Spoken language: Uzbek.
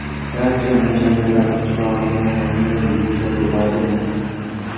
Barcha mashinalar chirog‘ini yoqmay yursa bo‘ladimi?